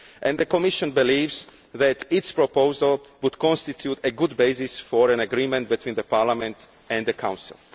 The Commission believes that its proposal would constitute a good basis for an agreement between Parliament and the Council.